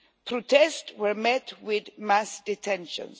Protests were met with mass detentions.